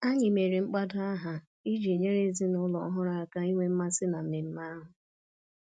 Anyị mere mkpado aha iji nyere ezinụlọ ọhụrụ aka inwe mmasị na mmemme ahụ